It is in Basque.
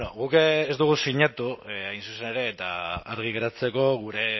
guk ez dugu sinatu hain zuzen ere eta argi geratzeko gure